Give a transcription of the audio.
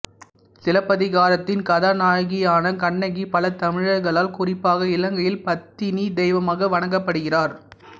சிலப்பதிகாரத்தின் கதாநாயகியான கண்ணகி பல தமிழர்களால் குறிப்பாக இலங்கையில் பத்தினித் தெய்வமாக வணங்கப்படுகிறார்